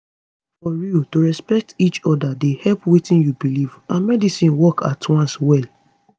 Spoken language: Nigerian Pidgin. for real to respect each oda dey help wetin u belief and medicine work at once well